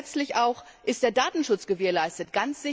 Dann letztlich auch Ist der Datenschutz gewährleistet?